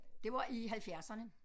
Det var i halvfjerdserne